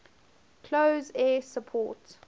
close air support